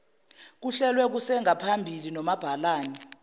kuhlelwe kusengaphambili nomabhalane